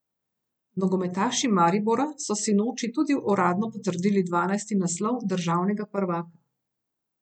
Nogometaši Maribora so sinoči tudi uradno potrdili dvanajsti naslov državnega prvaka.